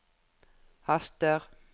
haster